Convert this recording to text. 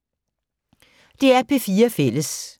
DR P4 Fælles